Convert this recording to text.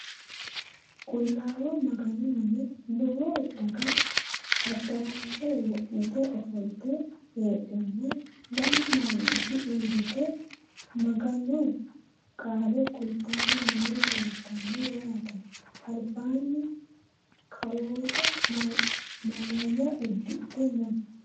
Qulaawa maganu mine lowo daga adarashshe wo'mitte offolitte heedhenna lamu manootti uuritte maganu qaale kulittanni noori leelittanno yaatte. Alibbanni kawore Malaya udidhe noo.